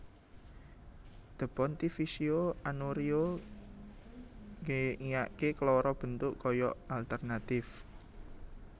The Pontificio Annuario nge iake keloro bentuk koyok alternatif